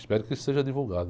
Espero que isso seja divulgado.